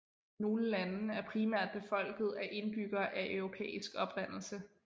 Nogle lande er primært befolket af indbyggere af europæisk oprindelse